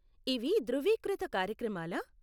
ఇవి ధృవీకృత కార్యక్రమాలా?